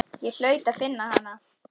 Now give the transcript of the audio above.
Ég hlaut að finna hana.